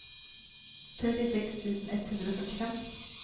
trettiseks tusen ett hundre og førtifem